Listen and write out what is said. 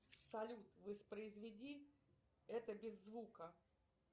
салют воспроизведи это без звука